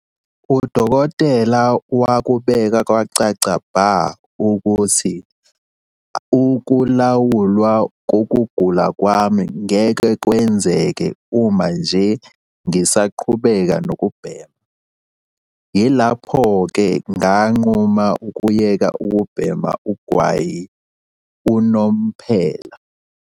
"Udokotela wakubeka kwacaca bha ukuthi ukulawulwa kokugula kwami ngeke kwenzeke uma nje ngisaqhubeka nokubhema. Yilapho-ke nganquma ukuyeka ukubhema ugwayi unomphela."